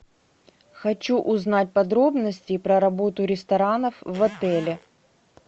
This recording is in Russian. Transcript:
хочу узнать подробности про работу ресторанов в отеле